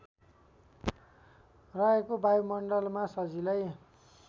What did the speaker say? रहेको वायुमण्डलमा सजिलै